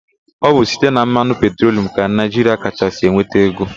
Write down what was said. Ọ bụ site na mmanụ petrolum ka Naịjiria kachasị enweta ego.